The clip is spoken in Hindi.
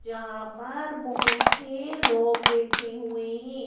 जहां पर बहोत सी लोग बैठे हुए हैं।